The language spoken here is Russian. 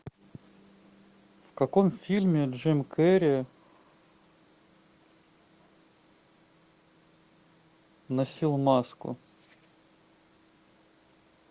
в каком фильме джим керри носил маску